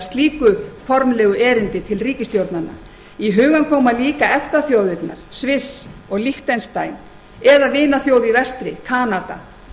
slíku formlegu erindi til ríkisstjórnanna í hugann koma líka efta þjóðirnar sviss og liechtenstein eða vinaþjóð í vestri kanada